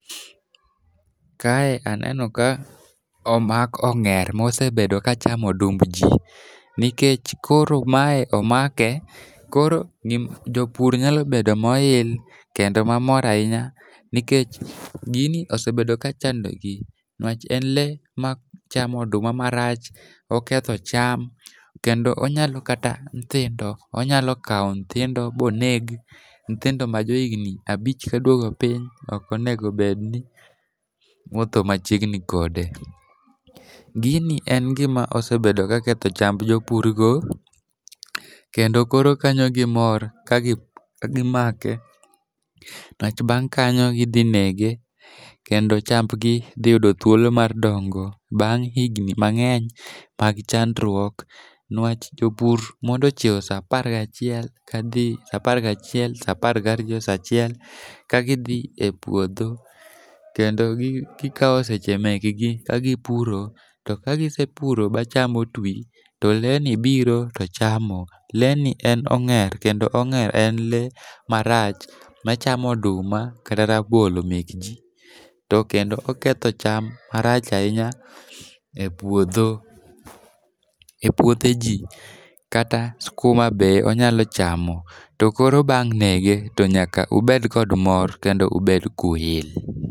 Kae aneno ka omak ong'er mosebedo kachamo odumb ji nikech koro mae omake, koro jopur nyalo bedo moil kendo mamor ahinya nikech gini osebedo kachandogi. Nwach en lee machamo oduma marach, oketho cham kendo onyalo kata nyithindo, onyalo kawo nyithindo bonegi, nyithindo majohigni abich kadwogo piny ok onego onedni wuotho machiegni kode, Gini en gima osebedo ka ketho chamb jopurgo, kendo koro kanyo gimor kagi make, nwach bang' kanyo gidhi nege kendo chambgi dhi yudo thuolo mar dongo bang' higni mang'eny, mag chandruok, nwach jopur mondo chiew sa apar gachiel kadhi apar gachiel, sa apar gariyo, sachiel kagidhi e puodho kendo gikawo seche mekgi kagipuro ,to kagisepuro ba cham otwi, to leeni biro to chamo, lee ni en ong'er kendo ong'er en lee marach machamo oduma kata rabolo mekji, to kendo oketho cham marach ahinya e puothe ji kata skuma be onyalo chamo, to koro bang' nege to nyaka obed kod mor kendo ubed kuyil.